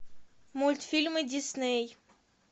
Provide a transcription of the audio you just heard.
мультфильмы дисней